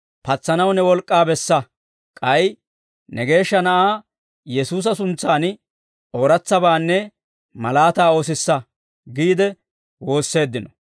Patsanaw ne wolk'k'aa bessa; k'ay ne Geeshsha Na'aa Yesuusa suntsan ooratsabaanne malaataa oosissa» giide woosseeddino.